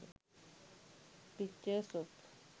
pictures of